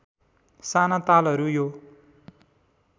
साना तालहरू यो